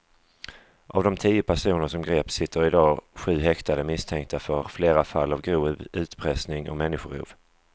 Av de tio personer som greps sitter i dag sju häktade misstänkta för flera fall av grov utpressning och människorov.